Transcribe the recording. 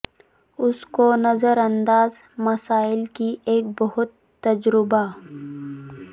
اس کو نظر انداز مسائل کی ایک بہت تجربہ